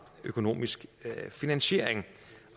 økonomisk finansiering